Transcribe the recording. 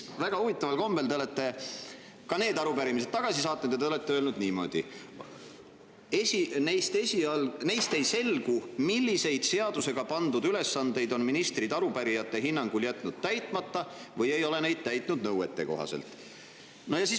Väga huvitaval kombel te olete ka need arupärimised tagasi saatnud ja olete öelnud niimoodi, et neist ei selgu, millised seadusega pandud ülesanded on ministrid arupärijate hinnangul täitmata jätnud või mida nad ei ole täitnud nõuetekohaselt.